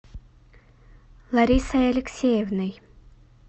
ларисой алексеевной